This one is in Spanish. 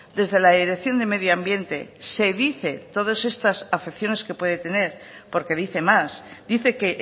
desde la dirección de medio ambiente se dice todas estas afecciones que puede tener porque dice más dice que